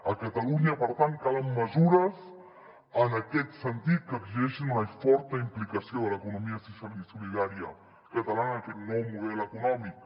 a catalunya per tant calen mesures en aquest sentit que exigeixin una forta implicació de l’economia social i solidària catalana en aquest nou model econòmic